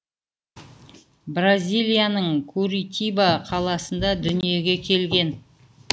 бразилияның куритиба қаласында дүниеге келген